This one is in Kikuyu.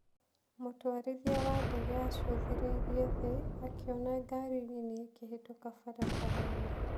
Mũtwarithia wa ndege acũthĩrĩirie thĩ, akĩona ngaari nini ikĩhĩtũka barabara-inĩ.